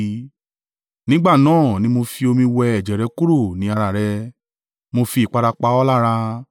“ ‘Nígbà náà ni mo fi omi wẹ ẹ̀jẹ̀ kúrò ní ara rẹ, mo fi ìpara pa ọ́ lára.